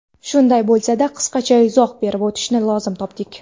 Shunday bo‘lsa-da, qisqacha izoh berib o‘tishni lozim topdik.